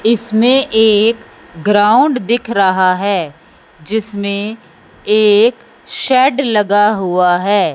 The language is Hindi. इसमें एक ग्राउंड दिख रहा हैं जिसमें एक शेड लगा हुवा हैं।